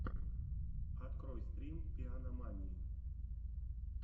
открой стрим пианомании